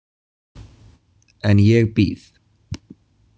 En ég bíð.